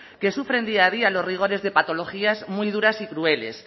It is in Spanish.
que sufren día a día los rigores de patologías muy duras y crueles